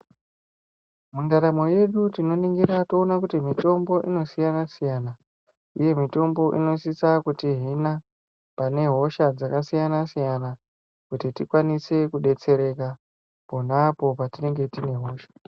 Mundaramo yedu tinoningira toona kuti mitombo inosiyana siyana uye mitombo inosisa kutihina pane hosha dzakasiyana siyana kuti tikwanise kudetsereka pona apo patinenge tine hosha .